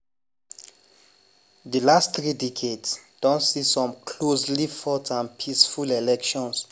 di last three decades don see some closely fought and peaceful elections.